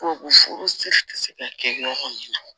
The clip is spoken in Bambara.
Ko furu siri ti se ka kɛ yɔrɔ min na